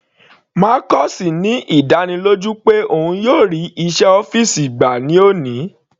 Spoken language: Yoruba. Marcus ní ìdánilójú pé òun yóò rí iṣẹ́ ọ́fìsì gbà ní òní.